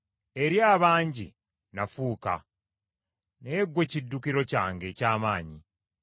Eri abangi nafuuka; naye ggwe kiddukiro kyange eky’amaanyi.